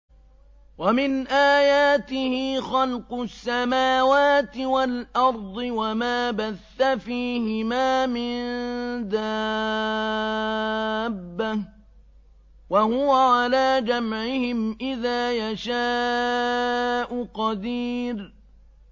وَمِنْ آيَاتِهِ خَلْقُ السَّمَاوَاتِ وَالْأَرْضِ وَمَا بَثَّ فِيهِمَا مِن دَابَّةٍ ۚ وَهُوَ عَلَىٰ جَمْعِهِمْ إِذَا يَشَاءُ قَدِيرٌ